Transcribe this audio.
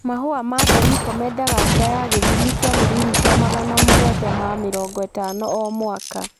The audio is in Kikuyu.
Mahũa ma mbeniko mendaga mbura ya gĩthimi kia mililita magana mũgwanja ma mĩrongo ĩtano o mwaka.